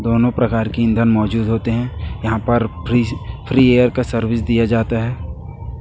दोनों प्रकार की ईंधन मौजूद होते हैं यहां पर फ्री एयर का सर्विस दिया जाता है।